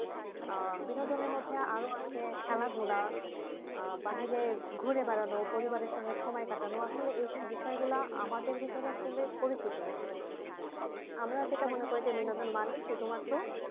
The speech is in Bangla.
আহ বিনোদনের মধ্যে আরও আছে খেলাধুলা আহ বাহিরে ঘুরে বেড়ানো পরিবারের সঙ্গে সময় কাটানো আসলে এই বিষয়গুলা আমাদের ভিতরে আসলে পরিচিত নাই আমরা যেটা মনে করি যে বিনোদন মানে শুধূ মাত্র